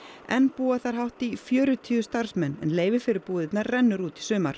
enn búa þar hátt í fjörutíu starfsmenn en leyfi fyrir búðirnar rennur út í sumar